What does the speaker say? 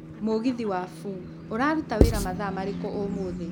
mũgithi wa f. ũrarũta wira mathaa rĩriĩkũ ũmũthĩ